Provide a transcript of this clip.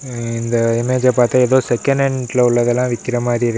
ம்ம் இந்த இமேஜ் பாத்தா ஏதோ செக்கணட்ல உள்ளதெல்லா விக்கிற மாதிரி இருக்.